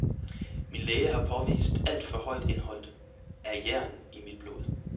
Min læge har påvist alt for højt indhold af jern i mit blod.